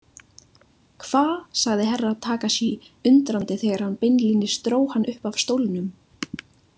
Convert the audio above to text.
Hva, sagði Herra Takashi undrandi þegar hann beinlínis dró hann upp af stólnum.